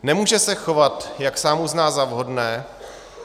Nemůže se chovat, jak sám uzná za vhodné.